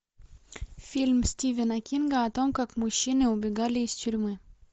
фильм стивена кинга о том как мужчины убегали из тюрьмы